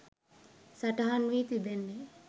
සටහන් වී තිබෙන්නේ